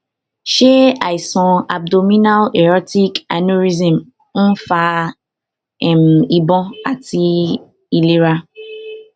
ṣé àìsàn abdominal aortic aneurysm ń um fa ìbòn àti um ìlara